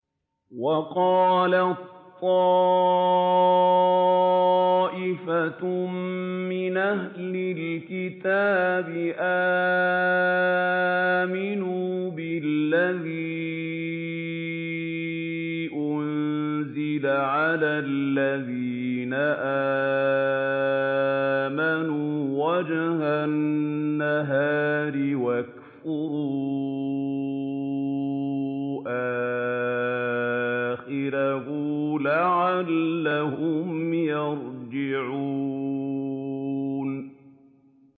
وَقَالَت طَّائِفَةٌ مِّنْ أَهْلِ الْكِتَابِ آمِنُوا بِالَّذِي أُنزِلَ عَلَى الَّذِينَ آمَنُوا وَجْهَ النَّهَارِ وَاكْفُرُوا آخِرَهُ لَعَلَّهُمْ يَرْجِعُونَ